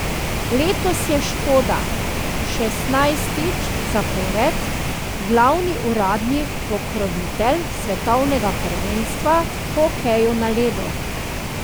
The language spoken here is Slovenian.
Letos je Škoda šestnajstič zapored glavni uradni pokrovitelj svetovnega prvenstva v hokeju na ledu.